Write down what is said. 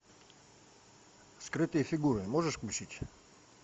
скрытые фигуры можешь включить